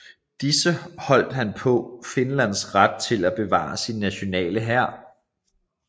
I disse holdt han på Finlands ret til at bevare sin nationale hær